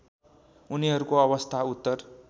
उनीहरूको अवस्था उत्तर